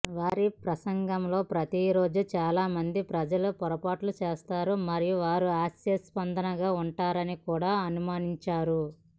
వారి ప్రసంగంలో ప్రతిరోజూ చాలామంది ప్రజలు పొరపాటు చేస్తారు మరియు వారు హాస్యాస్పదంగా ఉంటారని కూడా అనుమానించరు